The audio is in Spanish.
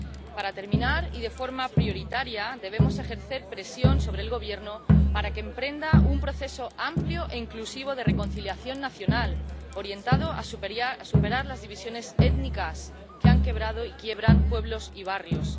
Para terminar, y de forma prioritaria, debemos ejercer presión sobre el Gobierno para que emprenda un proceso amplio e inclusivo de reconciliación nacional, orientado a superar las divisiones étnicas, que han quebrado y quiebran pueblos y barrios.